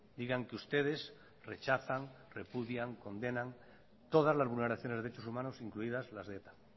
digan que ustedes rechazan repudian condenan todas las vulneraciones de derechos humanos incluidas las de eta